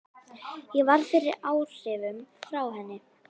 Ég varð fyrir áhrifum frá henni.